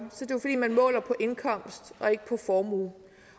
er man måler på indkomst og ikke på formue